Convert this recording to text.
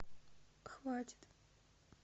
хватит